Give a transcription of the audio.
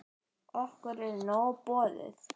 Okkur er nóg boðið